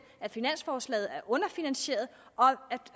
at finanslovforslaget er underfinansieret og